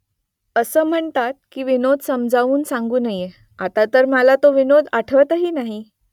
असं म्हणतात की विनोद समजावून सांगू नये . आता तर मला तो विनोद आठवतही नाही